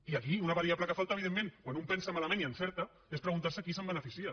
i aquí una variable que falta evidentment quan un pensa malament i encerta és preguntar se qui se’n beneficia